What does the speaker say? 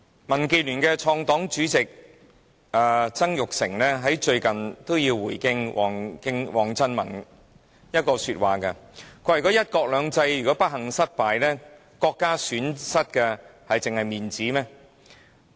民建聯的創黨主席曾鈺成，最近也回應王振民一句說話，他說"一國兩制"如果不幸失敗，國家損失真的只是面子嗎？